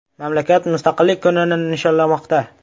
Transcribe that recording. Mamlakat Mustaqillik kunini nishonlamoqda.